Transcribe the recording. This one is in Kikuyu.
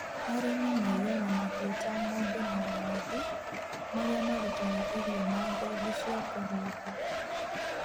Arĩmi maigaga mahiũ ta ng'ombe na ng'ondu, marĩa marutaga irio na ngothi cia kũhumba.